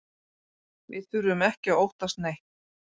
Við þurfum ekki að óttast neitt